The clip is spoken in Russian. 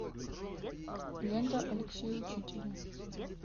лента алексея учителя